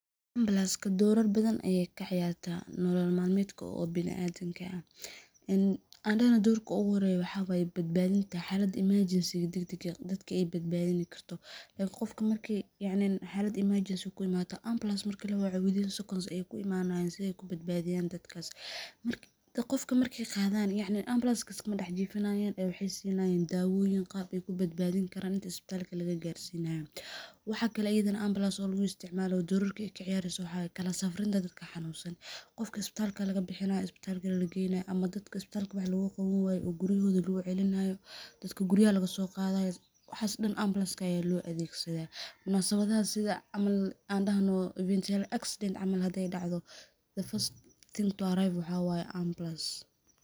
Ambalanska doraar badaan ayey kaa ciyarta nolol malmeedka oo biniadamka aah aan dahna dorkaa ogu horeyo waxa waye xalaad emarjensigaa dagdagaa ah dadka ey badbadiin karto lakin qofkaa markii yacni xalad emergency eey kuu imatoo ambulance markii lawacoo within seconds ayeey ku imanayan sidee kuu badbadiyan dadkas qofka marke qadaan yacni ambalaska iskama dex jifinayan ee waxey sinayan dawoyiin qar eyku badbadin karan inta istabalka lagaa garsinayo waxa kale iyadana ambulance oo lagu isticmalayo dorarkaa eyka ciyareyso waxa kalaa safriinta dadkaa xanunsan qofka istabalka laga bixinayo istabal kalee la geynayoo ama dadka istabalka wax logaa qawani waye oo guryahoda lagu celinayo dadka guryaha laga soo qadayoo waxas dhaan ambalaska aya lo adegsadaa munasabadaha sida cml aan daahno fatal accident cml hadee dacdho the first thing to arrive waxa waye ambulance.